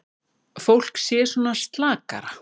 Fólk sé svona slakara.